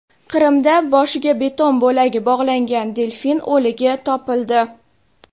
Qrimda boshiga beton bo‘lagi bog‘langan delfin o‘ligi topildi.